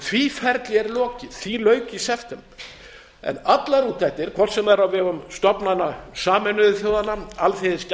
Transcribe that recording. því ferli er lokið því lauk í september en allar úttektir hvort sem þær eru á vegum stofnana sameinuðu þjóðanna